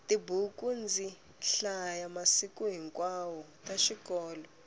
tibuku ndzi hlaya masiku hinkwawo ta xikolo